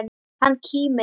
Hann kímir.